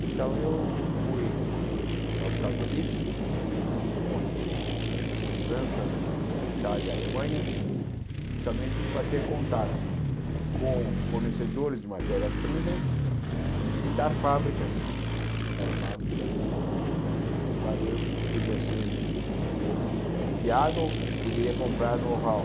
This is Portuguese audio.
Então, eu fui aos Estados Unidos, depois fui à França, à Itália, à Alemanha, justamente para ter contatos com fornecedores de matérias-primas e visitar fábricas, visitar fábricas eh para ver o que podia ser ou copiado ou que se poderia comprar no Hall.